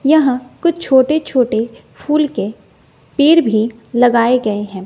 यहां कुछ छोटे छोटे फूल के पेड़ भी लगाए गए हैं।